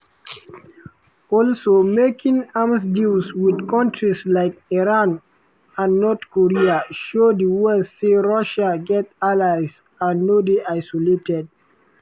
"also making arms deals with countries like iran and north korea show di west say russia get allies and no dey isolated."